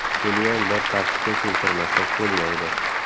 Buniyam bir tartibga keltirmasak bo‘lmaydi.